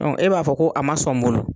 e b'a fɔ ko a man sɔn n bolo.